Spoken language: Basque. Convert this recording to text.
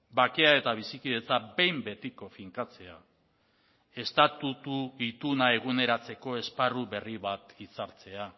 bakea eta bizikidetza behin betiko finkatzea estatutu ituna eguneratzeko esparru berri bat itzartzea